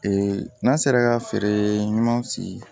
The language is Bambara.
Ee n'an sera ka feere ɲuman sigi